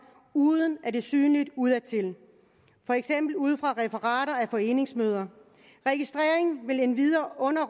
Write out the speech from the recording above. uden at det er synligt udadtil for eksempel ud fra referater af foreningsmøder registreringen vil endvidere under